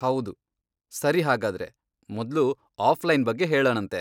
ಹೌದು, ಸರಿ ಹಾಗಾದ್ರೆ, ಮೊದ್ಲು ಆಫ್ಲೈನ್ ಬಗ್ಗೆ ಹೇಳಣಂತೆ.